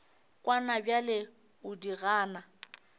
kwana bjale o di gana